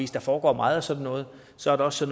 der foregår meget af sådan noget og så er der også